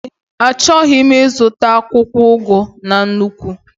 Ee, achọrọ m ịzụta akwụkwọ ugu na nnukwu